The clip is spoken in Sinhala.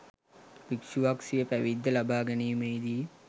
භික්ෂුවක් සිය පැවිද්ද ලබා ගැනීමේදී